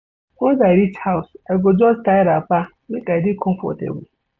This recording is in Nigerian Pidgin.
Once I reach house, I go just tie wrapper make I dey comfortable.